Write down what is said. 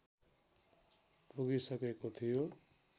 पुगिसकेको थियो